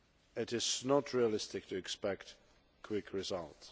It is not realistic to expect quick results.